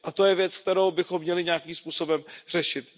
A to je věc, kterou bychom měli nějakým způsobem řešit.